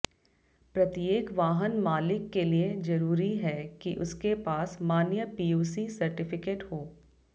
प्रत्येक वाहन मालिक के लिए जरूरी है कि उसके पास मान्य पीयूसी सर्टिफिकेट हो